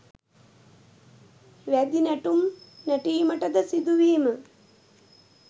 වැදි නැටුම් නැටීමටද සිදුවීම